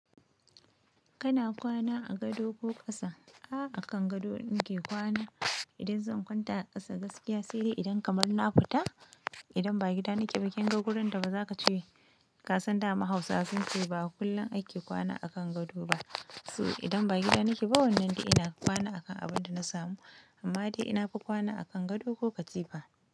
Kana kwana a gado ko ƙasa? A akan gado nake kwana idan zan kwanta a ƙasa gaskiya sai idan kamar na futa, idan ba gida nake ba. Kin ga wurin da bazaka ce kasan da mahausa sun ci ba. Kullum ake kwana a kan gado ba. Su idan ba gida nake ba wannan dai ina kwana akan abin da na samu. Amma dai ina ka kwana a kan gado ko katifa.